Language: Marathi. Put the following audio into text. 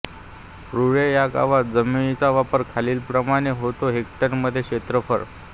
रुळे ह्या गावात जमिनीचा वापर खालीलप्रमाणे होतो हेक्टरमध्ये क्षेत्रफळ